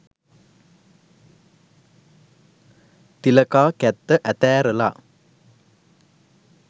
තිලකා කැත්ත අතෑරලා